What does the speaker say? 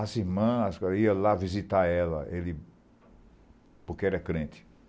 As irmãs iam lá visitar ela, ele... porque era crente.